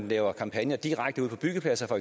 laver kampagner direkte ude på byggepladser